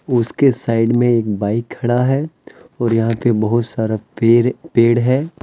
उसके साइड में एक बाइक खड़ा है और यहां पे बहुत सारा पेर पेड़ है।